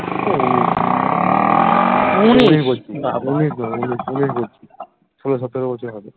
solo সতেরো বছর হবে